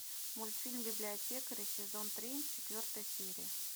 мультфильм библиотекари сезон три четвертая серия